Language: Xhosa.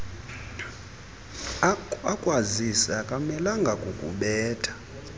akwazise akamelanga kukubetha